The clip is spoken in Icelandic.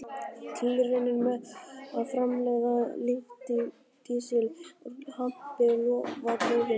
Tilraunir með að framleiða lífdísil úr hampi lofa góðu.